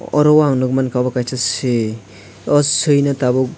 aro ang nugmanka omo kaisa swi aw swi nw tabuk.